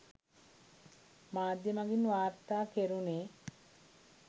මාධ්‍ය මගින් වාර්තා කෙරුණේ.